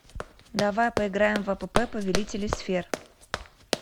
давай поиграем в апп повелители сфер